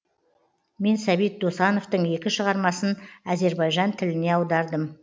мен сәбит досановтың екі шығармасын әзербайжан тіліне аудардым